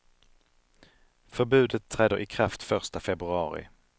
Förbudet träder i kraft första februari.